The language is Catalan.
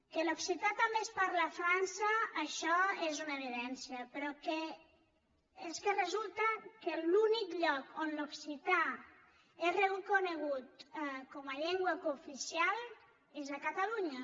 que l’occità també es parla a frança això és una evidència però és que resulta que l’únic lloc on l’occità és reconegut com a llengua cooficial és a catalunya